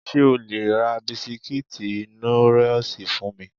Ṣé o le ra bisikítì Nóríòsì fún mi?